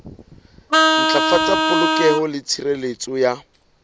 ntlafatsa polokeho le tshireletso ya